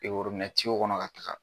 kɔnɔ ka taa.